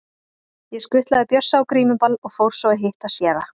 Ég skutlaði Bjössa á grímuball og fór svo að hitta séra